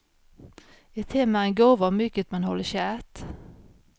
Ett hem är en gåva och mycket man håller kärt.